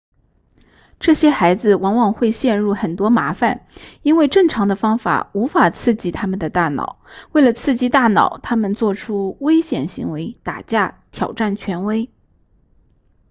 这些孩子往往会陷入很多麻烦因为正常的方法无法刺激他们的大脑为了刺激大脑他们做出危险行为打架挑战权威